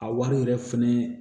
A wari yɛrɛ fɛnɛ